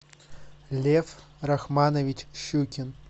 лев рахманович щукин